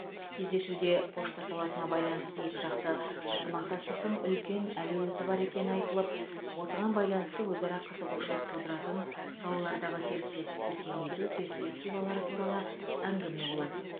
кездесуде пошта саласына байланысты екіжақты ынтымақтастықтың үлкен әлеуеті бар екені айтылып осыған байланысты өзара қызығушылық тудыратын салалардағы серіктестікті кеңейту перспективалары туралы әңгіме болады